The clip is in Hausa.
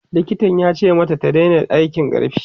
likitan yace mata ta Daina aikin ƙarfi